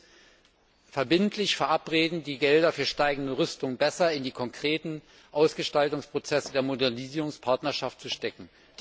Er muss verbindlich verabreden, die Gelder für steigende Rüstung besser in die konkreten Ausgestaltungsprozesse der Modernisierungspartnerschaft zu stecken.